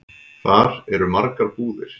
Þar eru margar búðir.